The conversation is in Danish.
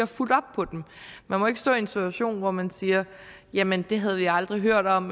fulgt op på man må ikke stå i en situation hvor man siger jamen det havde vi aldrig hørt om